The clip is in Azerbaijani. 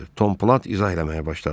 Tomplat izah eləməyə başladı.